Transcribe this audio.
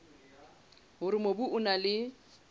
hore mobu o na le